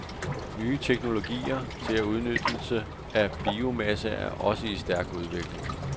Nye teknologier til udnyttelse af biomasse er også i stærk udvikling.